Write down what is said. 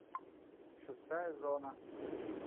шестая зона